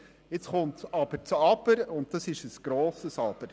Nun kommt aber ein grosses «Aber».